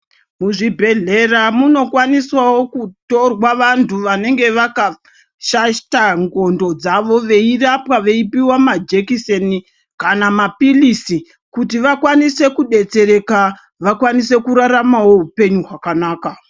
Muzvibhedhlera munokwanisawo kutorwa vantu vanenge vakashaisha ndxondo dzavo veirapwa veipiwa majekiseni kana mapirizi kuti vakwanise kubetsereka vakwanise.